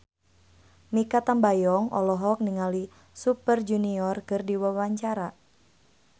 Mikha Tambayong olohok ningali Super Junior keur diwawancara